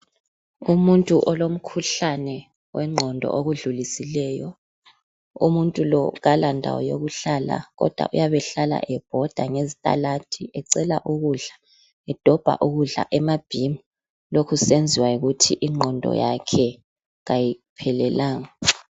Umuntu olomkhuhlane wengqondo okudlulisileyo, umuntu lo kalandawo yokuhlala kodwa uyabe hlala ebhoda ngezitaladi ecela ukudla, edobha ukudla emabhimu lokhu kusenziwa yikuthi ingqondo yakhe kayiphelelanga.